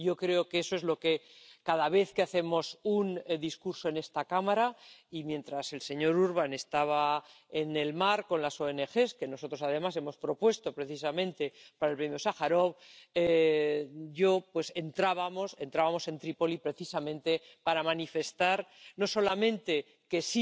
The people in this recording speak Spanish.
Yo creo que eso es lo que cada vez que hacemos un discurso en esta Cámara, y mientras el señor Urbán estaba en el mar con las ONG —que además hemos propuesto precisamente para el Premio Sájarov— nosotros entrábamos en Trípoli precisamente para manifestar no solamente que